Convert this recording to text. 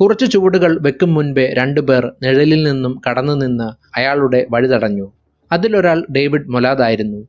കുറച്ചു ചുവടുകൾ വെക്കും മുമ്പേ രണ്ടു പേർ നിഴലിൽ നിന്നും കടന്നു നിന്ന് അയാളുടെ വഴി തടഞ്ഞു അതിൽ ഒരാൾ ഡേവിഡ് മൊലാദായിരുന്നു